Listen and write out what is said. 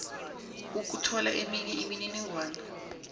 ukuthola eminye imininingwana